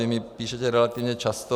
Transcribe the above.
Vy mi píšete relativně často.